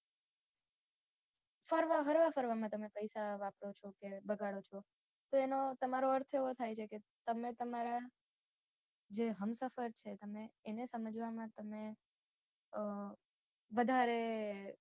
હરવા ફરવામાં તમે પૈસા વાપરો છો કે બગાડો છો તો એનો તમારો અર્થ એવો થાય છે કે તમને તમારાં જે હમસફર છે એને સમજવામાં તમે વધારે